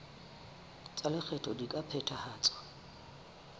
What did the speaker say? tsa lekgetho di ka phethahatswa